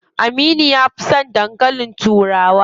Aminu ya fi son dankalin turawa.